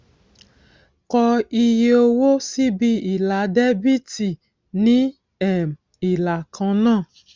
kọ iye owó síbi ilà dẹbíítì ní um ìlà kan náà